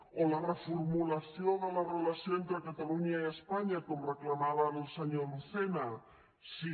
o la reformulació de la relació entre catalunya i espanya com reclamava ara el senyor lucena sí